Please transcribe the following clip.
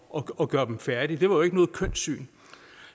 og gøre dem færdige det var jo ikke noget kønt syn